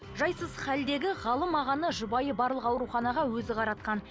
жайсыз халдегі ғалым ағаны жұбайы барлық ауруханаға өзі қаратқан